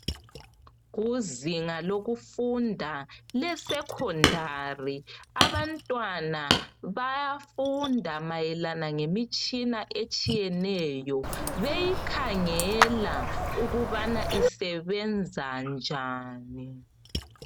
Kuzinga lokufunda le "secondary " abantwana bayafunda mayelana ngemitshina etshiyeneyo beyikhangela ukubana isebenza njani .